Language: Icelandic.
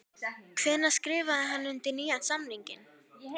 Hvenær skrifaði hann undir nýjan samning?